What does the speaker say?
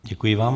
Děkuji vám.